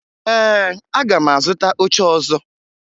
Ee, aga m azụta oche ọzọ